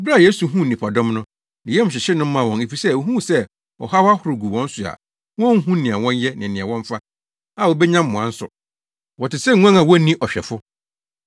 Bere a Yesu huu nnipadɔm no, ne yam hyehyee no maa wɔn efisɛ ohuu sɛ ɔhaw ahorow gu wɔn so a, wonhu nea wɔnyɛ ne nea wɔmfa a wobenya mmoa nso. Wɔte sɛ nguan a wonni ɔhwɛfo.